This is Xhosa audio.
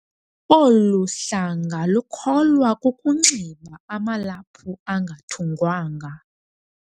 Olu hlanga lukholwa kukunxiba amalaphu angathungwanga.